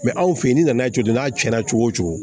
Mɛ anw fe yen n'i nana jɔ n'a cɛnna cogo wo cogo